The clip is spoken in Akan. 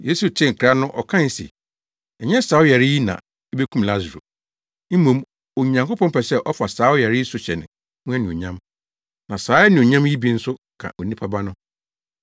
Yesu tee nkra no ɔkae se, “Ɛnyɛ saa ɔyare yi na ebekum Lasaro. Mmom Onyankopɔn pɛ sɛ ɔfa saa ɔyare yi so hyɛ ne ho anuonyam, na saa anuonyam yi bi nso ka Onipa Ba no.”